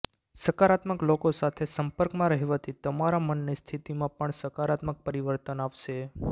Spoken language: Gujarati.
સકારાત્મક લોકો સાથે સંપર્કમાં રહેવાથી તમારા મનની સ્થિતિમાં પણ સકારાત્મક પરિવર્તન આવશે